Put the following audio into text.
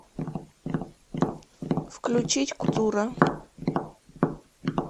включить культура